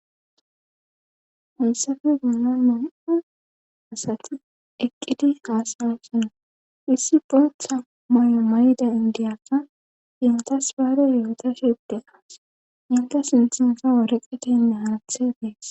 Unsafe gunna mun7a asati eqqidi aasawesona issi boetha may7o may7da indiyakka intas baare yoota shide aas inta sinthansa woreqetenne harthe dees